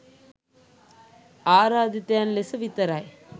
ආරාධිතයින් ලෙස විතරයි.